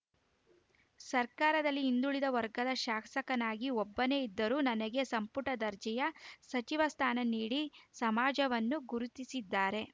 ಸರ್ಕಾರದಲ್ಲಿ ಹಿಂದುಳಿದ ವರ್ಗದ ಶಾಸಕನಾಗಿ ಒಬ್ಬನೇ ಇದ್ದರೂ ನನಗೆ ಸಂಪುಟ ದರ್ಜೆಯ ಸಚಿವ ಸ್ಥಾನ ನೀಡಿ ಸಮಾಜವನ್ನು ಗುರುತಿಸಿದ್ದಾರೆ